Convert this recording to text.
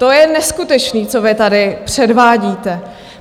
To je neskutečný, co vy tady předvádíte.